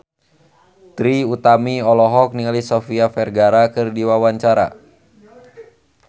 Trie Utami olohok ningali Sofia Vergara keur diwawancara